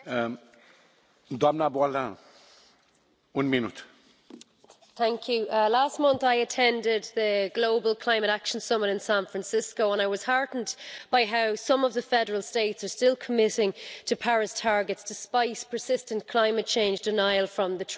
Mr President, last month I attended the Global Climate Action Summit in San Francisco and I was heartened by how some of the federal states are still committing to Paris targets, despite persistent climate change denial from the Trump administration.